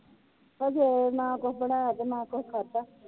ਅਜੇ ਨਾ ਕੁਛ ਬਣਾਇਆ ਤੇ ਨਾ ਕੁਛ ਖਾਧਾ।